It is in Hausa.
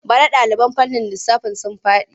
Bana ɗaliban fannin lissafi sun faɗi.